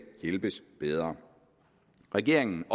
hjælpes bedre regeringen